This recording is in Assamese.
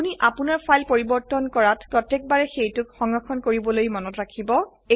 আপোনি আপোনাৰ ফাইল পৰিবৰ্তন কৰাত প্ৰতেয়কবাৰে সেইটোক সংৰক্ষণ কৰিবলৈ মনত ৰাখিব